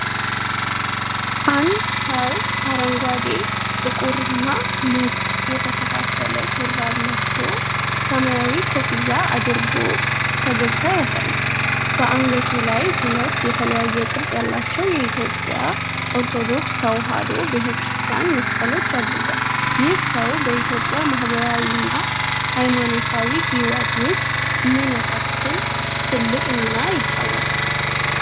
አንድ ሰው አረንጓዴ፣ ጥቁርና ነጭ የተከፋፈለ ሹራብ ለብሶ፣ ሰማያዊ ኮፍያ አድርጎ ፈገግታ ያሳያል። በአንገቱ ላይ ሁለት የተለያየ ቅርጽ ያላቸው የኢትዮጵያ ኦርቶዶክስ ተዋህዶ ቤተ ክርስቲያን መስቀሎች አድርጓል። ይህ ሰው በኢትዮጵያ ማህበራዊና ሃይማኖታዊ ሕይወት ውስጥ ምን ያህል ትልቅ ሚና ይጫወታል?